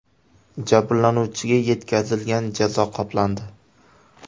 Jabrlanuvchiga yetkazilgan jazo qoplandi.